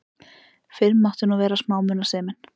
Fyrr mátti nú vera smámunasemin!